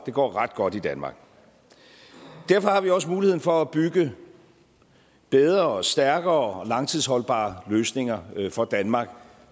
går ret godt i danmark derfor har vi også mulighed for at bygge bedre og stærkere og langtidsholdbare løsninger for danmark